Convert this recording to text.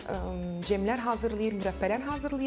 cemlər hazırlayır, mürəbbələr hazırlayır.